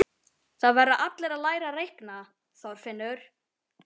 Það verða allir að læra að reikna, Þorfinnur